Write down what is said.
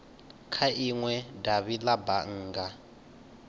kha inwe davhi la bannga